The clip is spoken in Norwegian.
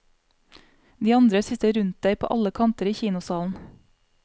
De andre sitter rundt deg på alle kanter i kinosalen.